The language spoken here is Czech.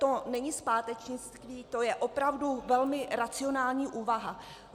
To není zpátečnictví, to je opravdu velmi racionální úvaha.